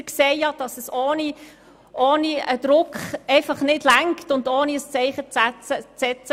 Wir sehen ja, dass es ohne Druck und ohne ein Zeichen zu setzen einfach nicht reicht.